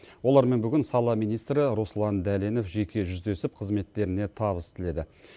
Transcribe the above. олармен бүгін сала министрі руслан дәленов жеке жүздесіп қызметтеріне табыс тіледі